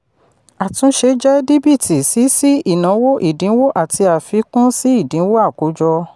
àtúnṣe jẹ díbíìtì sí sí ìnáwó ìdínwó àti àfikún sí ìdínwó àkójọ.